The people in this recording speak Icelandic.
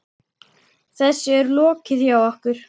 Þessu er lokið hjá okkur.